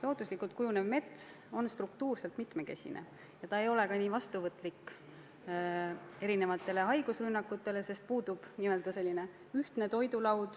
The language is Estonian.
Looduslikult kujunev mets on struktuurilt mitmekesine ja tänu sellele ei ole ta erinevatele haigustele nii vastuvõtlik, sest puudub n-ö suur ühtne toidulaud.